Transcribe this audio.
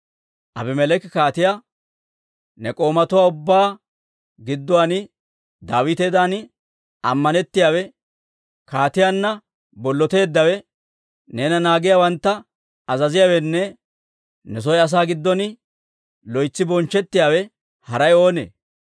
Abimeleeki kaatiyaa, «Ne k'oomatuwaa ubbaa gidduwaan Daawitedan ammanettiyaawe, kaatiyaanna bolloteeddawe, neena naagiyaawantta azaziyaawenne ne soo asaa giddon loytsi bonchchettiyaawe haray oonee?